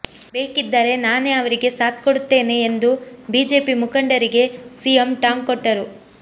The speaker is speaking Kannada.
ಬೇಕಿದ್ದರೆ ನಾನೇ ಅವರಿಗೆ ಸಾಥ್ ಕೊಡುತ್ತೇನೆ ಎಂದು ಬಿಜೆಪಿ ಮುಖಂಡರಿಗೆ ಸಿಎಂ ಟಾಂಗ್ ಕೊಟ್ಟರು